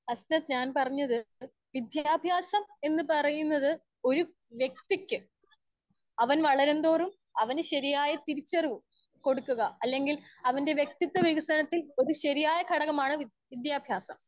Speaker 1 Hasanat ഞാൻ പറഞ്ഞത് വിദ്യാഭ്യാസം എന്ന് പറയുന്നത് ഒര്‌ വ്യക്തിക്ക് അവൻ വളരും തോറും അവൻ ശരിയായ തിരിച്ചറിവ് കൊടുക്കുക അല്ലെങ്കിൽ അവന്റെ വ്യക്തിത്വ വികസനത്തിൽ ഒര്‌ ശരിയായ ഘടക മാണ് വിദ്യാഭ്യാസം.